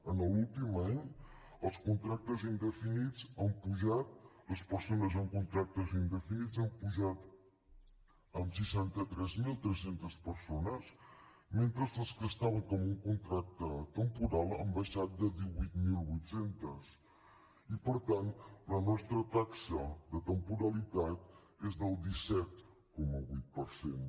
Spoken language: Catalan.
en l’últim any els contractes indefinits han pujat les persones amb contractes indefinits han pujat en seixanta tres mil tres cents persones mentre que les que estaven en un contracte temporal han baixat de divuit mil vuit cents i per tant la nostra taxa de temporalitat és del disset coma vuit per cent